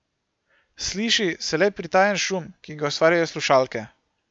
Sliši se le pritajen šum, ki ga ustvarjajo slušalke.